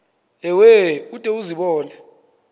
ewe ude uzibone